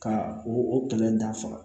Ka o kɛlɛ dafa